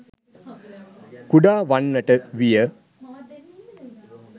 කුඩා වන්නට විය.